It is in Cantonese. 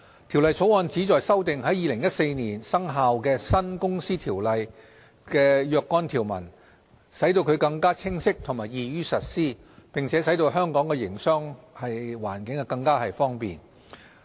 《條例草案》旨在修訂在2014年生效的新《公司條例》的若干條文，使其更清晰和易於實施，並使在香港營商更為方便。